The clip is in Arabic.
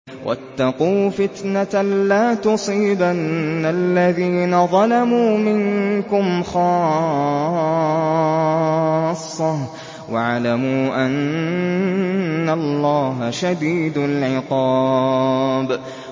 وَاتَّقُوا فِتْنَةً لَّا تُصِيبَنَّ الَّذِينَ ظَلَمُوا مِنكُمْ خَاصَّةً ۖ وَاعْلَمُوا أَنَّ اللَّهَ شَدِيدُ الْعِقَابِ